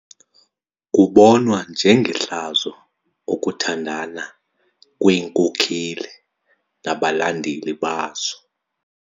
Kubonwa njengehlazo ukuthandana kweenkokeli nabalandeli bazo.